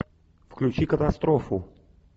включи катастрофу